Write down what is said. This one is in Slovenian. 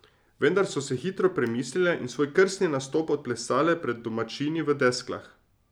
Vendar so se hitro premislile in svoj krstni nastop odplesale pred domačini v Desklah.